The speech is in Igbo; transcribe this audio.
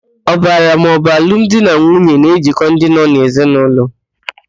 Ọbara maọbụ alụmdinanwuye na-ejikọ ndị nọ n'ezinaụlọ.